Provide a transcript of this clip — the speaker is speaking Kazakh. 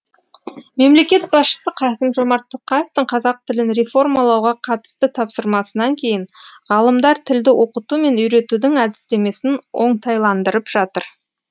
мемлекет басшысы қасым жомарт тоқаевтың қазақ тілін реформалауға қатысты тапсырмасынан кейін ғалымдар тілді оқыту мен үйретудің әдістемесін оңтайландырып жатыр